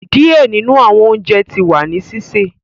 Diẹ ninu awọn ounjẹ ti wa ni sise